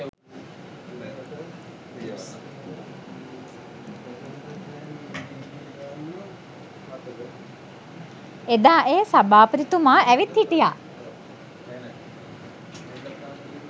එදා ඒ සභාපතිතුමා ඇවිත් හිටියා